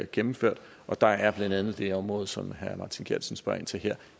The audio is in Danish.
gennemført der er blandt andet det område som herre martin geertsen spørger ind til her